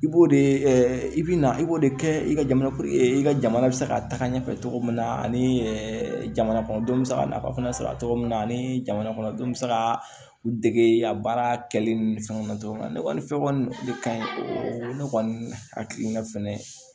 I b'o de i bi na i b'o de kɛ i ka jamana e ka jamana bɛ se ka taga ɲɛfɛ cogo min na ani jamanakɔnɔdenw bɛ se ka nafa fana sɔrɔ a togo min na ani jamana kɔnɔ denw bɛ se ka u dege a baara kɛli ni fɛnw na cogo min na ne kɔni fɛ kɔni ne ka ɲi o ne kɔni hakili la fɛnɛ